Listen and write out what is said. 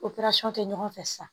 kɛ ɲɔgɔn fɛ sisan